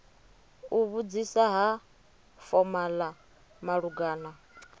u vhudzisa ha fomala malugana